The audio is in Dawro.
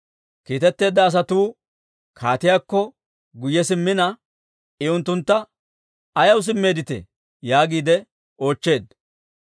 Kiitteedda asatuu kaatiyaakko guyye simmina, I unttuntta, «Ayaw simmeedditee?» yaagiide oochcheedda.